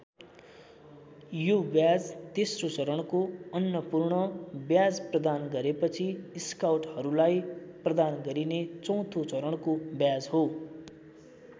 यो ब्याज तेस्रो चरणको अन्नपूर्ण ब्याज प्रदान गरेपछि स्काउटहरूलाई प्रदान गरिने चौथो चरणको ब्याज हो।